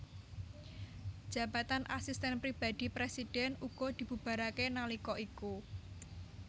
Jabatan Asisten Pribadi Presiden uga dibubarake nalika iku